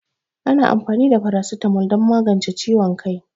Ana amfani da paracetamol don magance ciwon kai